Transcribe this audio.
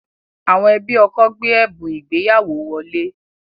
Àwọn ẹbí ọkọ gbé ẹ̀bùn ìgbéyàwó wọlé